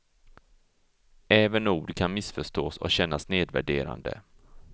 Även ord kan missförstås och kännas nedvärderande.